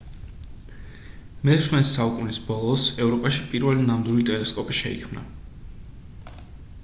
მე-16 საუკუნის ბოლოს ევროპაში პირველი ნამდვილი ტელესკოპი შეიქმნა